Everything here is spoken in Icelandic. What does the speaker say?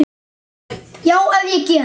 Já, ef ég get.